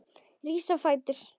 Rís á fætur.